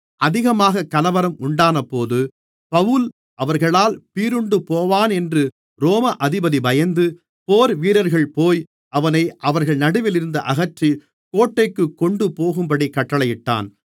அதிகமாக கலவரம் உண்டானபோது பவுல் அவர்களால் பீறுண்டுபோவானென்று ரோம அதிபதி பயந்து போர்வீரர்கள்போய் அவனை அவர்கள் நடுவிலிருந்து அகற்றி கோட்டைக்குக் கொண்டுபோகும்படி கட்டளையிட்டான்